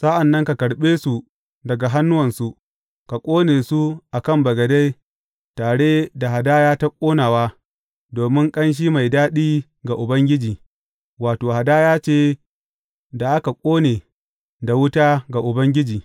Sa’an nan ka karɓe su daga hannuwansu, ka ƙone su a kan bagade tare da hadaya ta ƙonawa, domin ƙanshi mai daɗi ga Ubangiji, wato, hadaya ce da aka ƙone da wuta ga Ubangiji.